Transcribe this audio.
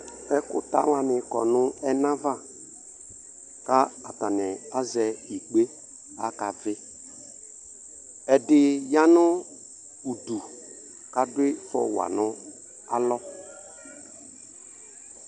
Ɛkuta wani kɔnu ɛnava ka atanu azɛ ikpe kakavɩ ɛdini yanu idu kadi fua nu alɔ